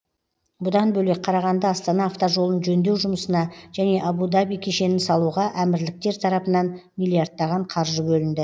бұдан бөлек қарағанды астана автожолын жөндеу жұмысына және абу даби кешенін салуға әмірліктер тарапынан миллиардтаған қаржы бөлінді